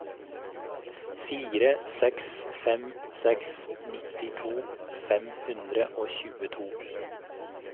fire seks fem seks nittito fem hundre og tjueto